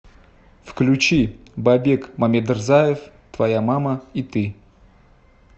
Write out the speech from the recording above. включи бабек мамедрзаев твоя мама и ты